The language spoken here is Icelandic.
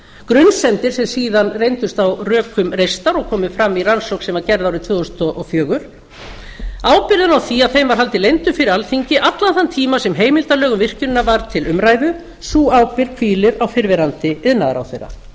grunsemdir sem síðan reyndust á rökum reistar og komu fram í rannsókn sem var gerð árið tvö þúsund og fjögur ábyrgðina á því að þeim var haldið leyndum fyrir alþingi allan þann tíma sem heimildarlög um virkjunina voru til umræðu sú ábyrgð hvílir á fyrrverandi iðnaðarráðherra